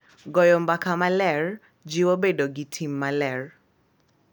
Goyo mbaka maler jiwo bedo gi tim maler